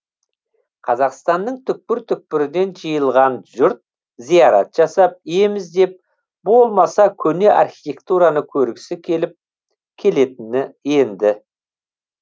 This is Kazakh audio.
қазақстанның түкпір түкпірінен жиылған жұрт зиарат жасап ем іздеп болмаса көне архитектураны көргісі келіп келетіні енді